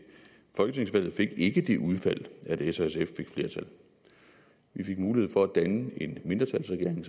folketingsvalget ikke fik det udfald at s og sf fik flertal vi fik mulighed for at danne en mindretalsregering